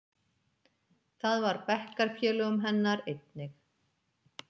Það var bekkjarfélögum hennar einnig.